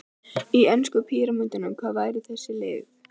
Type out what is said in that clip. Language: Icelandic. Í enska píramídanum, hvar væru þessi lið?